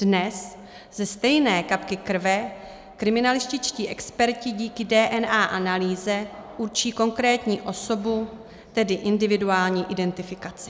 Dnes ze stejné kapky krve kriminalističtí experti díky DNA analýze určí konkrétní osobu, tedy individuální identifikaci.